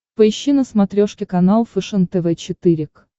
поищи на смотрешке канал фэшен тв четыре к